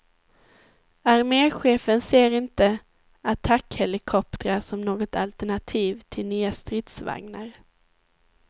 Armechefen ser inte attackhelikoptrar som något alternativ till nya stridsvagnar.